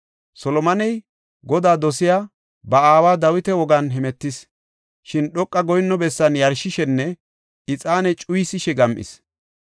Solomoney Godaa dosiya ba aawa Dawita wogan hemetis. Shin dhoqa goyinno bessan yarshishenne ixaane cuyisishe gam7is.